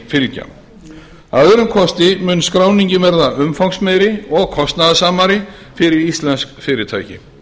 fylgja að öðrum kosti mun skráningin verða mun umfangsmeiri og kostnaðarsamari fyrir íslensk fyrirtæki